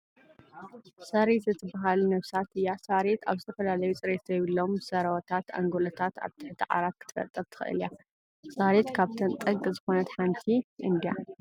ሰሬት እትበሃል ነብሳት እያ :: ሳርየት ኣብ ዝተፈላለዩ ፅሬት ዘይብሎም ሰርወታት ኣንጎሎታት ኣብ ትሕቲ ዓራት ክትፈጥር ትክእል እያ ? ሳሬት ካብተን ጠንቂ ዝኮነ ሓንቲ እንድያ ?